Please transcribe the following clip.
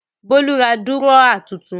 Bólú ra dúrọ́à tuntun lánàá.